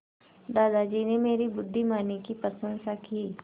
दादाजी ने मेरी बुद्धिमानी की प्रशंसा की